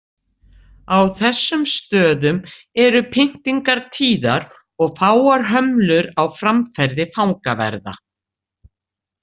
Á þessum stöðum eru pyntingar tíðar og fáar hömlur á framferði fangaverða.